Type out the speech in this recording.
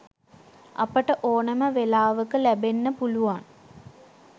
අපට ඕනම වෙලාවක ලැබෙන්න පුළුවන්